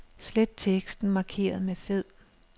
Slet teksten markeret med fed.